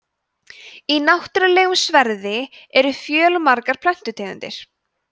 í náttúrulegum sverði eru fjölmargar plöntutegundir